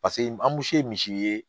Paseke ye misi ye